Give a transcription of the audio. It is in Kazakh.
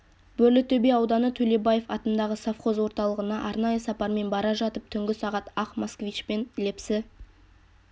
бөрлітөбе ауданы төлебаев атындағы совхоз орталығына арнайы сапармен бара жатып түнгі сағат ақ москвичпен лепсі